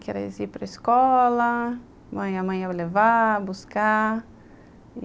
Que era ir para escola, levar, buscar.